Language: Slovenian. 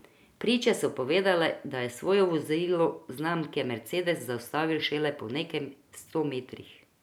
Priče so povedale, da je svoje vozilo znamke mercedes zaustavil šele po nekaj sto metrih.